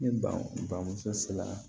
Ne bamuso sera